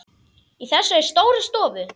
Í þessari stóru stofu?